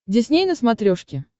дисней на смотрешке